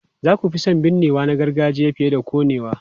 Za ku fi son binnewa na gargajiya fiye da konewa?